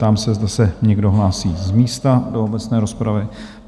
Ptám se, zda se někdo hlásí z místa do obecné rozpravy?